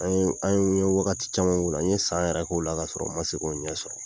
An ye, n ye wagati caman k'o la . N ye san yɛrɛ k'o la ka sɔrɔ n ma se k'o ɲɛ sɔrɔ.